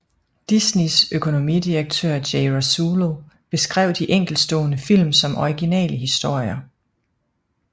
Disneys økonomidirektør Jay Rasulo beskrev de enkeltstående film som originale historier